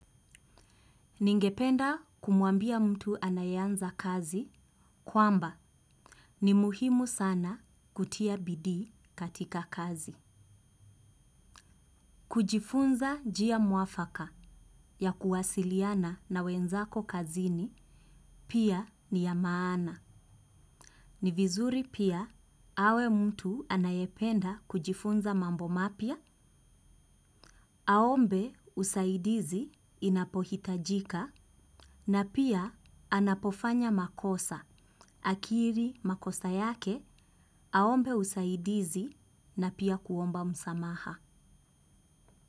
Ningependa kumuambia mtu anayeanza kazi kwamba ni muhimu sana kutia bidii katika kazi. Kujifunza njia muafaka ya kuwasiliana na wenzako kazini pia ni ya maana. Ni vizuri pia awe mtu anayependa kujifunza mambo mapya. Aombe usaidizi inapohitajika na pia anapofanya makosa. Akiri makosa yake, aombe usaidizi na pia kuomba msamaha.